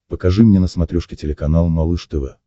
покажи мне на смотрешке телеканал малыш тв